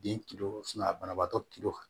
Den banabaatɔ